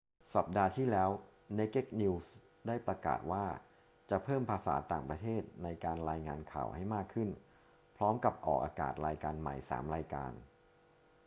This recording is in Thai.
สัปดาห์ที่แล้ว naked news ได้ประกาศว่าจะเพิ่มภาษาต่างประเทศในการรายงานข่าวให้มากขึ้น พร้อมกับออกอากาศรายการใหม่ 3 รายการ